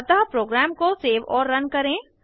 अतः प्रोग्राम को सेव और रन करें